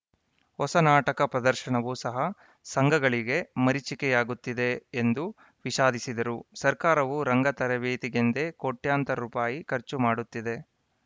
ಹೊಸ ನಾಟಕ ಪ್ರದರ್ಶನವೂ ಸಹ ಸಂಘಗಳಿಗೆ ಮರೀಚಿಕೆಯಾಗುತ್ತಿದೆ ಎಂದು ವಿಷಾದಿಸಿದರು ಸರ್ಕಾರವೂ ರಂಗ ತರಬೇತಿಗೆಂದೇ ಕೋಟ್ಯಾಂತರ ರುಪಾಯಿ ಖರ್ಚು ಮಾಡುತ್ತಿದೆ